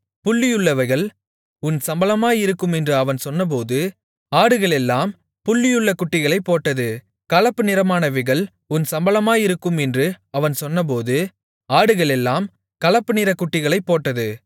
புள்ளியுள்ளவைகள் உன் சம்பளமாயிருக்கும் என்று அவன் சொன்னபோது ஆடுகளெல்லாம் புள்ளியுள்ள குட்டிகளைப் போட்டது கலப்புநிறமானவைகள் உன் சம்பளமாயிருக்கும் என்று அவன் சொன்னபோது ஆடுகளெல்லாம் கலப்பு நிறக் குட்டிகளைப் போட்டது